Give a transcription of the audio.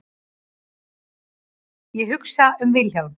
Ég hugsa um Vilhjálm.